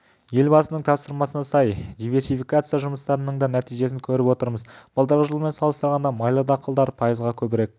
елбасының тапсырмасына сай диверсификация жұмыстарының да нәтижесін көріп отырмыз былтырғы жылмен салыстырғанда майлы дақылдар пайызға көбірек